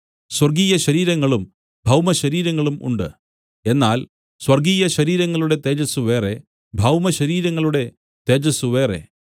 സ്വർഗ്ഗീയ ശരീരങ്ങളും ഭൗമശരീരങ്ങളും ഉണ്ട് എന്നാൽ സ്വർഗ്ഗീയശരീരങ്ങളുടെ തേജസ്സ് വേറെ ഭൗമ ശരീരങ്ങളുടെ തേജസ്സ് വേറെ